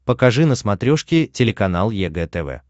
покажи на смотрешке телеканал егэ тв